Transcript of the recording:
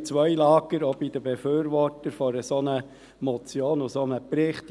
wohl zwei Lager, auch bei den Befürwortern einer solchen Motion und eines Berichts.